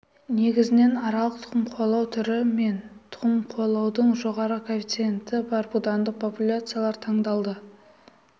негізінен аралық тұқым қуалау түрі мен тұқым қуалаудың жоғары коэффициенті бар будандық популяциялар таңдалды